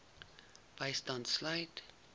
bystand sluit